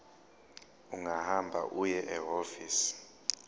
ungahamba uye ehhovisi